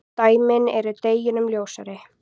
Dæmin eru deginum ljósari.